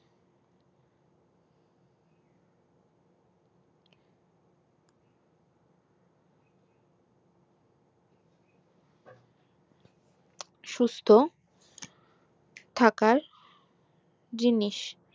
সুস্থ থাকার জিনিস